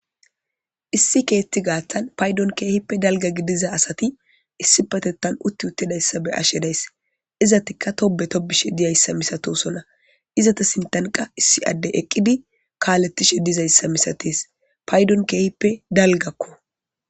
Issi keeti gaaththan paydon keehippe dalga gidiza asati issi patettan utti uttidayssa be ashe days izatikka tobe tobishe diyayssa misatosona izata sintanqa issi addey eqqidi kaaletishe dizayssa misates paydon keehippe dalgakko.